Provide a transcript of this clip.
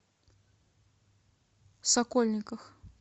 сокольниках